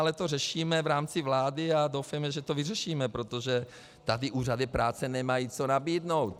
Ale to řešíme v rámci vlády a doufejme, že to vyřešíme, protože tady úřady práce nemají co nabídnout.